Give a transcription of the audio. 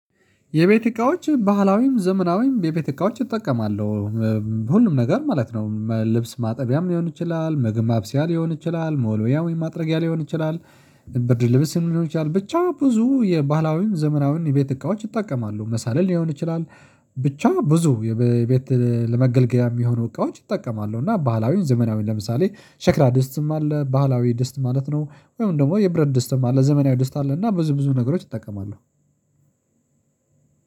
የቤት እቃዎች ባህላዊም ዘመናዊም የቤት እቃዎች እጠቀማለሁ። ሁሉም ነገር ማለት ነው ልብስ ማጠቢያም ሊሆን ይችላል ምግብ ማብስያ ሊሆን ይችላል መወልወያ ወይም ማጥረጊያ ሊሆን ይችላል። ብርድ ልብስም ሊሆን ይችላል ብቻ ብዙ የባህላዊም ዘመናዊም የቤት እቃዎች እጠቀማለሁ መሳርያ ሊሆን ይችላል። ብቻ ብዙ የቤት ለመገልገያ የሚሆኑ እቃዎች እጠቀማለሁ እና ባህላዊም ዘመናዊም ለምሳሌ ሸክላ ድስትም አለ ባህላዊ ድስት ማለት ነው። ወይም ደግሞ የብረት ደስት ማለት ዘመናዊ ደስት አለ እና ብዙ ብዙ ነገሮች ይጠቀማሉ።